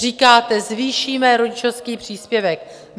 Říkáte: Zvýšíme rodičovský příspěvek.